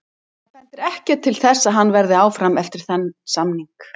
Það bendir ekkert til þess að hann verði áfram eftir þann samning.